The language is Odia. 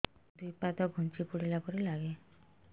ଦୁଇ ପାଦ ଛୁଞ୍ଚି ଫୁଡିଲା ପରି ଲାଗେ